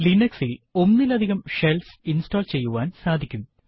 Linux ഇൽ ഒന്നിലധികം shells install ചെയ്യുവാൻ സാധിക്കും